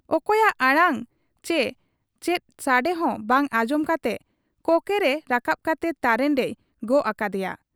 ᱚᱠᱚᱭᱟᱜ ᱟᱲᱟᱝ ᱪᱤ ᱪᱮᱫ ᱥᱟᱰᱮᱦᱚᱸ ᱵᱟᱝ ᱟᱸᱡᱚᱢ ᱠᱟᱛᱮ ᱠᱚᱠᱮ ᱨᱟᱠᱟᱵ ᱠᱟᱛᱮ ᱛᱟᱨᱮᱱ ᱨᱮᱭ ᱜᱚᱜ ᱟᱠᱟᱫ ᱮᱭᱟ ᱾